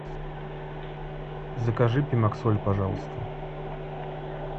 закажи пемоксоль пожалуйста